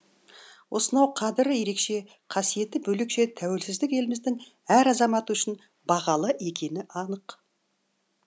осынау қадірі ерекше қасиеті бөлекше тәуелсіздік еліміздің әр азаматы үшін бағалы екені анық